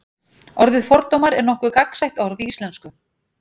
orðið fordómar er nokkuð gagnsætt orð í íslensku